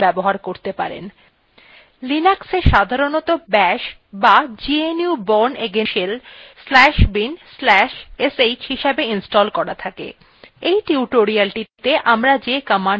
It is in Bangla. linuxএ সাধারনতঃ bash বা gnu bourneagain shell shell/bin/sh হিসাবে ইনস্টল করা থাকে